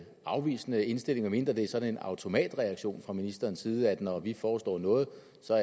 afvisende indstilling med mindre det er sådan en automatreaktion fra ministerens side når vi foreslår noget